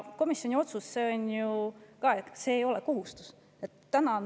Komisjoni otsus ei ole ju kohustuslik.